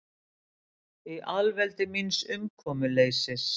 Í alveldi míns umkomuleysis.